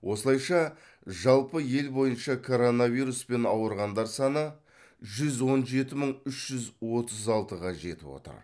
осылайша жалпы ел бойынша коронавируспен ауырғандар саны жүз он жеті мың үш жүз отыз алтыға жетіп отыр